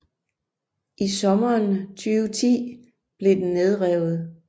I sommeren 2010 blev den nedrevet